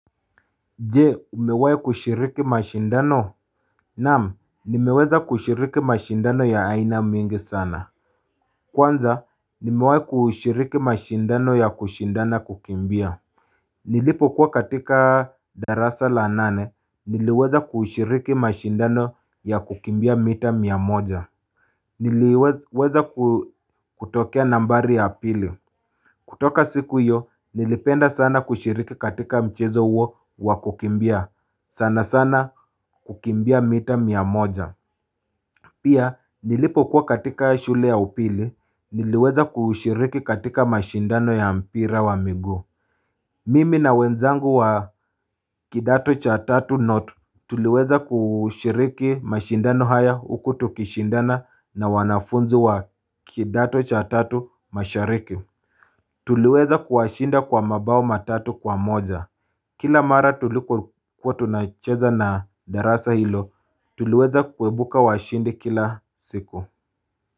Je umewahi kushiriki mashindano Naam nimeweza kushiriki mashindano ya aina mingi sana Kwanza nimewahi kushiriki mashindano ya kushindana kukimbia Nilipokuwa katika darasa la nane niliweza kushiriki mashindano ya kukimbia mita mia moja Niliweza kutokea nambari ya pili kutoka siku hiyo, nilipenda sana kushiriki katika mchezo huo wakukimbia. Sana sana kukimbia mita mia moja. Pia, nilipokuwa katika shule ya upili, niliweza kushiriki katika mashindano ya mpira wa miguu. Mimi na wenzangu wa kidato cha tatu note. Tuliweza kushiriki mashindano haya huku tukishindana na wanafunzi wa kidato cha tatu mashariki. Tuliweza kuwashinda kwa mabao matatu kwa moja Kila mara tulipokuwa tunacheza na darasa hilo, tuliweza kuibuka washindi kila siku.